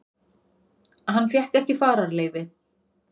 Hann fékk ekki fararleyfi